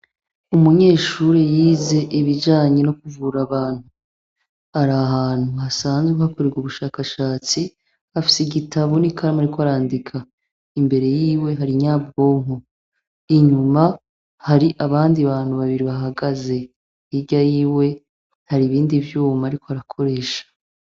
Umunyeshuri yize ibijanye no kuvura Abantu, arahantu hasanzwe hakorerwa ubushakashatsi, afise igitabu n'ikaramu, ariko arandika. Imbere y'iwe hari Inyabwonko, inyuma hari abandi bantu babiri bahagaze hirya y'iwe hari ibindi vyuma ariko arakoresha.